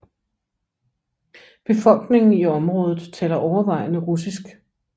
Befolkningen i området taler overvejende russisk